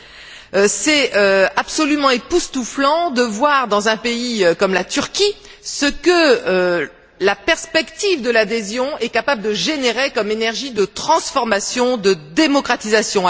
Il est absolument époustouflant de voir, dans un pays comme la Turquie, ce que la perspective de l'adhésion est capable de générer comme énergie de transformation, de démocratisation.